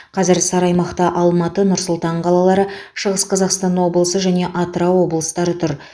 қазір сары аймақта алматы нұр сұлтан қалалары шығыс қазақстан облысы және атырау облыстары тұр